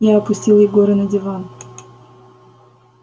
я опустил егора на диван